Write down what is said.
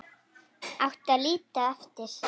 Átti að líta eftir